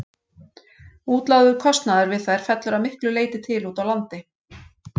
Útlagður kostnaður við þær fellur að miklu leyti til úti á landi.